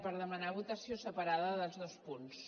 per demanar votació separada dels dos punts